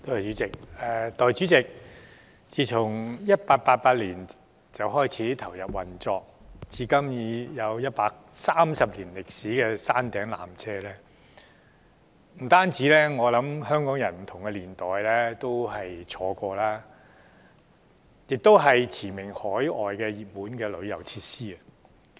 代理主席，山頂纜車自1888年開始投入運作，至今已有130年歷史，我相信不單不同年代的香港人也曾乘坐過，它亦是馳名海外的本地熱門旅遊設施。